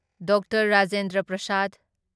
doctor Rajendra Prasad